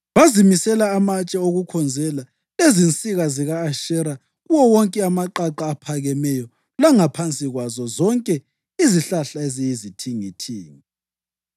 Bazimisela amatshe okukhonzela lezinsika zika-Ashera kuwo wonke amaqaqa aphakemeyo langaphansi kwazo zonke izihlahla eziyizithingithingi.